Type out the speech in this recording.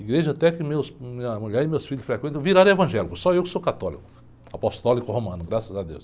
Igreja até que meus, minha mulher e meus filhos frequentam, viraram evangélicos, só eu que sou católico, apostólico romano, graças a Deus.